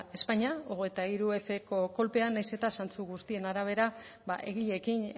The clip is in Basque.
espainia hogeita hirufko kolpean nahiz eta zantzu guztien arabera egileekin